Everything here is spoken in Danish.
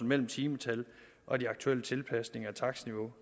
mellem timetallet og de aktuelle tilpasninger af takstniveauet